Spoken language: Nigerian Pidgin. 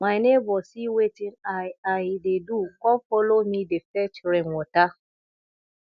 my neighbor see wetin i i dey do come follow me dey fetch rain water